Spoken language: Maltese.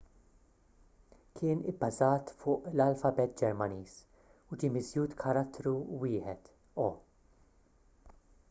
kien ibbażat fuq l-alfabet ġermaniż u ġie miżjud karattru wieħed õ/õ